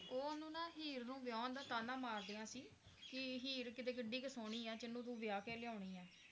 ਉਹ ਓਹਨੂੰ ਨਾ ਹੀਰ ਨੂੰ ਵਿਆਹੁਣ ਦਾ ਤਾਣਾ ਮਾਰਦੀਆਂ ਸੀ ਕੀ ਹੀਰ ਕਿਦੇ ਕਿੱਡੀ ਕ ਸੋਹਣੀ ਆ ਜਿਹਨੂੰ ਤੂੰ ਵਿਆਹ ਕੇ ਲਿਆਉਣੀ ਏ